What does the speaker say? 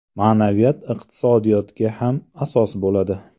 Ma’naviyat iqtisodiyotga ham asos bo‘ladi.